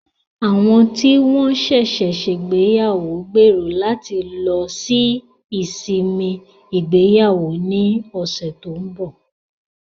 Àwọn tí wọ́n ṣẹ̀ṣẹ̀ ṣègbéyàwó gbèrò láti lọ sí ìsinmi ìgbéyàwó ní ọ̀sẹ̀ tó ń bọ̀.